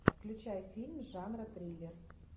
включай фильм жанра триллер